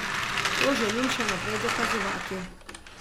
To želim še naprej dokazovati.